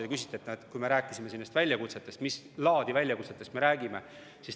Te küsisite, et kui me rääkisime nendest väljakutsetest, siis mis laadi väljakutsetest me räägime.